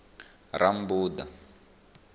rammbuḓa